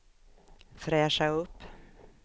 fräscha upp